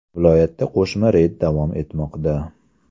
Viloyatda qo‘shma reyd davom etmoqda.